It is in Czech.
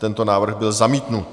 Tento návrh byl zamítnut.